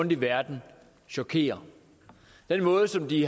i verden chokerer den måde som de